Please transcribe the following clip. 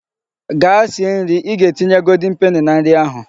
Gaa sie nri! I ga-etinye golden peni na nri ahu..